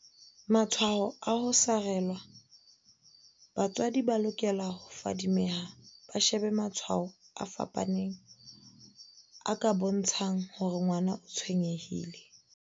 Matshwao a ho sarelwa Batswadi ba lokela ho fadi meha ba shebe matshwao a fapaneng a ka bontsha ng hore ngwana o tshwenye hile.